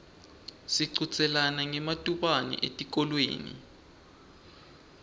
sichudzelana ngematubane etikolweni